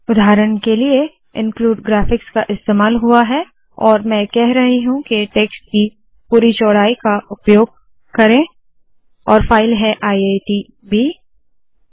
उदाहरण के लिए इन्क्लूड ग्राफिक्स का इस्तेमाल हुआ है और मैं कह रही हूँ के टेक्स्ट की पूरी चौड़ाई का उपयोग करो और फाइल है IITB I I T B